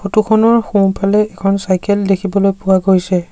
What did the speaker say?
Photo খনৰ সোঁফালে এখন চাইকেল দেখিবলৈ পোৱা গৈছে।